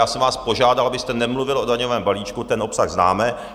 Já jsem vás požádal, abyste nemluvil o daňovém balíčku, ten obsah známe.